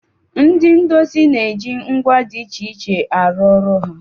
Ndị ndosi na-eji ngwa dị iche iche arụ ọrụ ha.